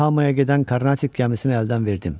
Yokohamaya gedən Karnatik gəmisini əldən verdim.